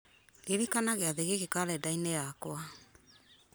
ririkana gĩathĩ gĩkĩ karenda-inĩ yakwa